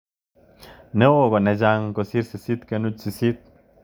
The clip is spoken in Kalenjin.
Neo ko ne chang kosir 8.8